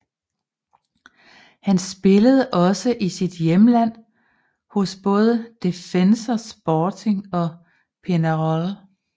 Han spillede også i sit hjemland hos både Defensor Sporting og Peñarol